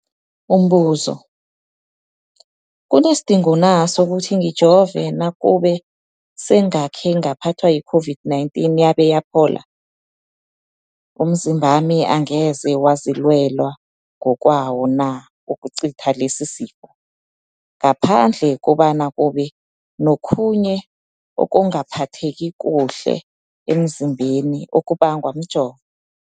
Umbuzo, kunesidingo na sokuthi ngijove nakube sengakhe ngaphathwa yi-COVID-19 yabe yaphola? Umzimbami angeze wazilwela ngokwawo na ukucitha lesisifo, ngaphandle kobana kube nokhunye ukungaphatheki kuhle emzimbeni okubangwa mjovo?